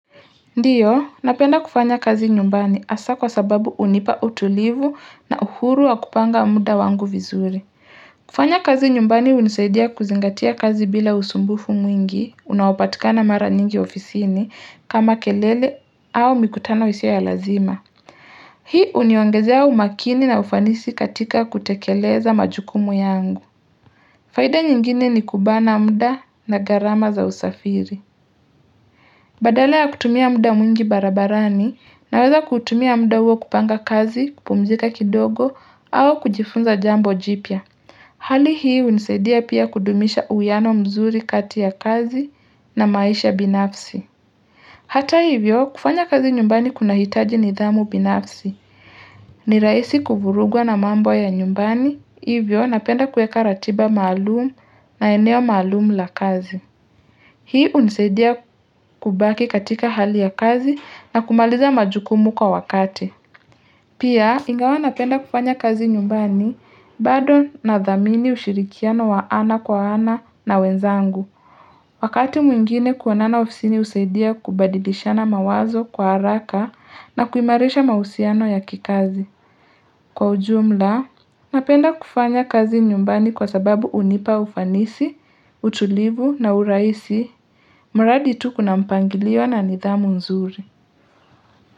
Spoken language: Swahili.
Ndiyo, napenda kufanya kazi nyumbani hasa kwa sababu unipa utulivu na uhuru wa kupanga muda wangu vizuri. Kufanya kazi nyumbani unisaidia kuzingatia kazi bila usumbufu mwingi unaopatikana mara nyingi ofisini kama kelele au mikutano isiyo ya lazima. Hii uniongezea umakini na ufanisi katika kutekeleza majukumu yangu. Faida nyingine ni kubana muda na gharama za usafiri. Badala ya kutumia muda mwingi barabarani naweza kutumia muda huo kupanga kazi, kupumzika kidogo au kujifunza jambo jipya. Hali hii unisedia pia kudumisha uiano mzuri kati ya kazi na maisha binafsi. Hata hivyo kufanya kazi nyumbani kunahitaji nidhamu binafsi. Ni raisi kuvurugwa na mambo ya nyumbani hivyo napenda kuweka ratiba maalumu na eneo maalumu la kazi. Hii unisaidia kubaki katika hali ya kazi na kumaliza majukumu kwa wakati. Pia ingawa napenda kufanya kazi nyumbani bado nadhamini ushirikiano wa ana kwa ana na wenzangu. Wakati mwingine kuonana ofisini usaidia kubadidishana mawazo kwa haraka na kuimarisha mausiano ya kikazi. Kwa ujumla, napenda kufanya kazi nyumbani kwa sababu unipa ufanisi, utulivu na uraisi. Mradi tu kuna mpangiliwa na nidhamu nzuri.